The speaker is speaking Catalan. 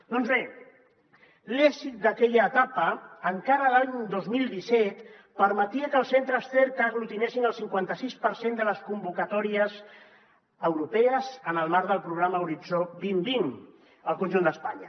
doncs bé l’èxit d’aquella etapa encara a l’any dos mil disset permetia que els centres cerca aglutinessin el cinquanta sis per cent de les convocatòries europees en el marc del programa horitzó vint vint al conjunt d’espanya